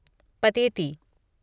Pateti